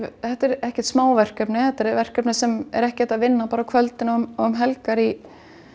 þetta er ekkert smáverkefni þetta er verkefni sem ekki er hægt að vinna bara á kvöldin og um helgar í